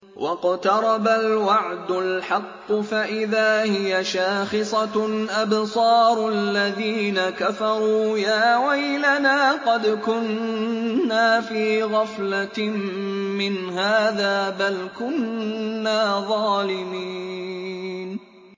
وَاقْتَرَبَ الْوَعْدُ الْحَقُّ فَإِذَا هِيَ شَاخِصَةٌ أَبْصَارُ الَّذِينَ كَفَرُوا يَا وَيْلَنَا قَدْ كُنَّا فِي غَفْلَةٍ مِّنْ هَٰذَا بَلْ كُنَّا ظَالِمِينَ